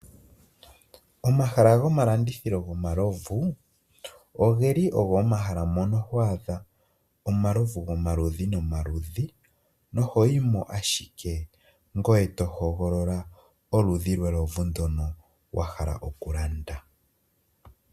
Omahala gomalandithilo gomalovu ogeli ogo omahala mono hwaadha omalovu gomaludhi nomaludhi nohoyi mo ashike ngoye to hogolola oludhi lwelovu ndono wahala oku landa.